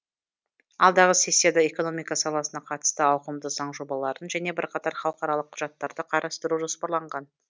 алдағы сессияда экономика саласына қатысты ауқымды заң жобаларын және бірқатар халықаралық құжаттарды қарастыру жоспарланған